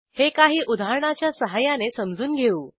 हे काही उदाहरणाच्या सहाय्याने समजून घेऊ